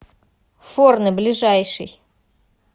форне ближайший